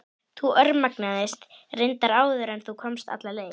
Þú örmagnaðist reyndar áður en þú komst alla leið.